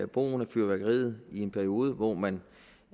brugen af fyrværkeriet i en periode hvor man